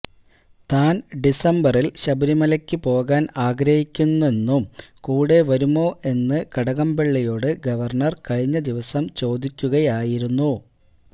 താൻ ഡിസംബറിൽ ശബരിമലക്ക് പോകാൻ ആഗ്രഹിക്കുന്നെന്നും കൂടെ വരുമോ എന്നും കടകംപള്ളിയോട് ഗവർണർ കഴിഞ്ഞ ദിവസം ചോദിക്കുകയായിരുന്നു